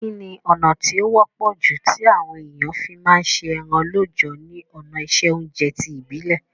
Kíni ọ̀nà ti o wọ́pọ̀ ju ti àwon èyàn fi ma se eran lọ́jọ̀ ni òná ìse ounje ti ìbílẹ́